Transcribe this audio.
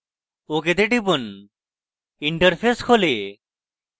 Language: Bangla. ok তে টিপুন interface খোলে